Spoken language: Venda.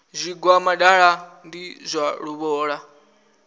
zwigwa muṱaḓa ndi zwa luvhola